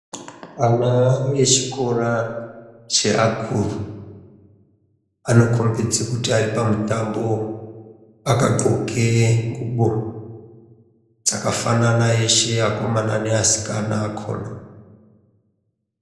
Ana echikora cheakuru, anokombidze kuti ari pamutambo akadhloke ngubo, dzakafanana eshe asikana neakomana akona.